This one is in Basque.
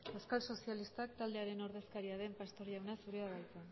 euskal sozialista taldearen ordezkaria den pastor jauna zurea da hitza